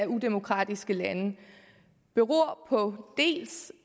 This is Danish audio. udemokratiske lande beror på